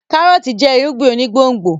kárọ́ọ̀tì jẹ́ irúgbìn onígbòǹgbò